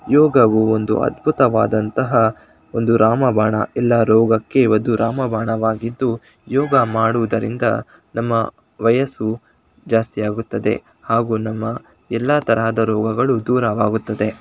ಇಲ್ಲಿ ನಾವು ದೊಡ್ಡದಾಗಿರುವಂಥ ಒಂದು ಯೋಗ ಕ್ಲಾಸ ನ್ನು ನೋಡಬಹುದಾಗಿದೆ ಯೋಗವು ಒಂದು ಅದ್ಭುತವಾದಂಂತಹ ಒಂದು ರಾಮಬಾಣ ಎಲ್ಲಾ ರೋಗಕ್ಕೆ ಒಂದು ರಾಮಬಾಣವಾಗಿದ್ದು ಯೋಗ ಮಾಡುವುದರಿಂದ ನಮ್ಮ ವಯಸ್ಸು ಜಾಸ್ತಿ ಆಗುತ್ತದೆ ಮತ್ತೆ ನಮ್ಮ ಎಲ್ಲಾ ತರದ ರೋಗಗಳು ದೂರವಾಗುತ್ತದೆ.